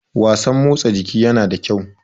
wasan motsa jiki yana da kyau